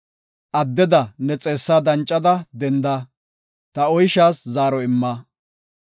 Addeda ne xeessaa dancada dendada, ta oyshaas zaaro imma.